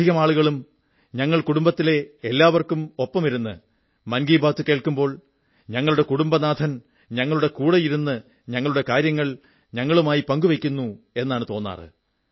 അധികം ആളുകളും ഞങ്ങൾ കുടുംബത്തിലെ എല്ലാവർക്കുമൊപ്പമിരുന്ന് മൻ കീ ബാത് കേൾക്കുമ്പോൾ ഞങ്ങളുടെ കുടുംബനാഥൻ ഞങ്ങളുടെ കൂടെയിരുന്ന് ഞങ്ങളുടെ തന്നെ കാര്യങ്ങൾ ഞങ്ങളുമായി പങ്കുവയ്ക്കുന്നു എന്നാണ് തോന്നാറ്